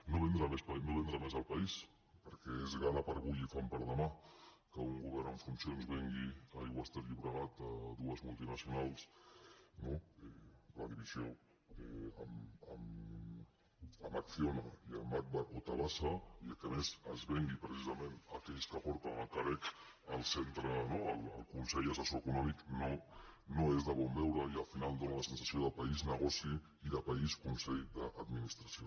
no vendre més el país perquè és gana per avui i fam per demà que un govern en funcions vengui aigües ter llobregat a dues multinacionals no la divisió en acciona i en agbar o tabasa i que a més es vengui precisament a aquells que porten el carec el consell assessor econòmic no és de bon veure i al final dóna la sensació de país negoci i de país consell d’administració